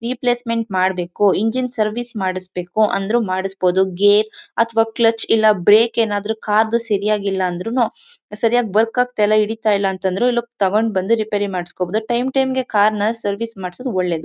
Replacement ಮಾಡಬೇಕು engine service ಮಾಡಿಸ್ಬೇಕು ಅಂದ್ರು ಮಾಡಿಸಬಹುದು ಗೇರ್ ಅಥವಾ ಕ್ಲಚ್ ಇಲ್ಲ ಬ್ರೇಕ್ ಏನಾದ್ರುಕಾರ್ ದು ಸರಿಯಾಗಿ ಇಲ್ಲಾಂದ್ರೂನು ಸರಿಯಾಗಿ ವರ್ಕ್ ಆಗ್ತಾ ಇಲ್ಲ ಹಿಡಿತಾ ಇಲ್ಲ ಅಂದ್ರು ಲುಕ್ ತಗೊಂಡು ಬಂದು ರಿಪೇರಿ ಮಾಡಿಸಬೋದು ಟೈಮ್ ಟೈಮ್ ಗೆ ಕಾರ್ ನ ಸರ್ವಿಸ್ ಮಾಡಿಸೋದು ಒಳ್ಳೆಯದು.